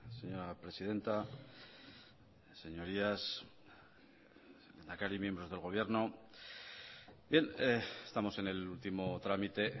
señora presidenta señorías lehendakari y miembros del gobierno bien estamos en el último trámite